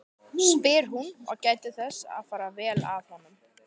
spyr hún og gætir þess að fara vel að honum.